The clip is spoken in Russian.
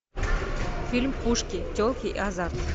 фильм пушки телки и азарт